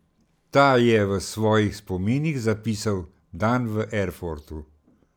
Ta je v svojih spominih zapisal: 'Dan v Erfurtu.